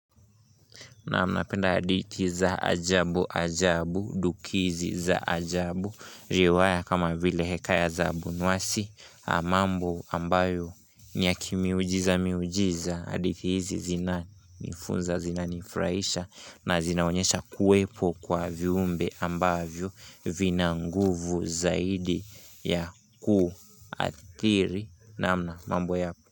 Naam napenda hadithi za ajabu ajabu dukizi za ajabu riwaya kama vile Hekaya za Abunuwasi mambo ambayo ni ya kimiujiza miujiza hadithi hizi zinanifunza zinanifurahisha na zinaonyesha kuwepo kwa viumbe ambavyo vina nguvu zaidi ya kuathiri namna mambo yao.